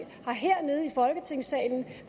har hernede i folketingssalen